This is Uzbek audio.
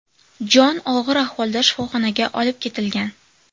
Jon og‘ir ahvolda shifoxonaga olib ketilgan.